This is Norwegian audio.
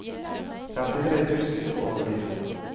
femtitre tusen og førtito